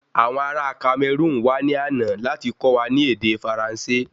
Awọn ará Cameroun wá ní àna láti kọ́ wa ní ède Faransé